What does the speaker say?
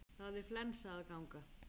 Það er flensa að ganga.